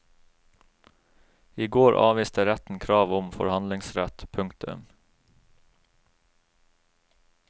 I går avviste retten krav om forhandlingsrett. punktum